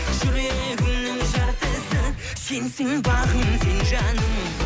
жүрегімнің жартысы сенсің бағым сен жаным